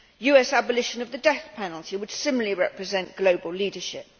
US abolition of the death penalty would similarly represent global leadership.